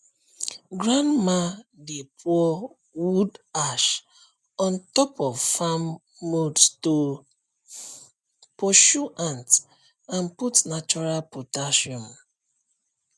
grandma dey pour wood ash on top of farm mounds to pursue ant and put natural potassium